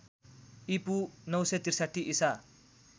ईपू ९६३ ईसा